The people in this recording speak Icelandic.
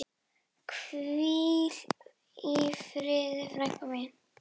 Hvíl í friði frænka mín.